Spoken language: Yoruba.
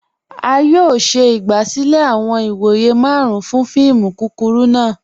A yọ̀ọ̀ ṣẹ igbasilẹ̀ awọn ìwọ̀yẹ̀ màrùn fún fíìmù kúkúrù náà